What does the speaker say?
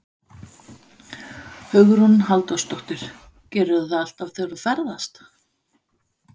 Hugrún Halldórsdóttir: Gerirðu það alltaf þegar þú ferðast?